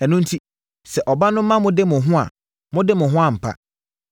Ɛno enti, sɛ ɔba no ma mode mo ho a, mobɛde mo ho ampa.